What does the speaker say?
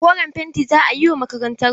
Koren fenti za a yi wa makarantarmu.